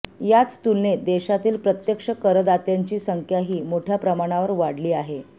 याच तुलनेत देशातील प्रत्यक्ष करदात्यांची संख्याही मोठ्या प्रमाणावर वाढली आहे